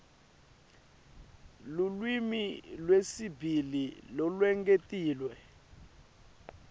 lulwimi lwesibili lolwengetiwe